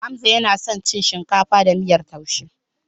Hamza yana son cin shinkafa da miyar taushe.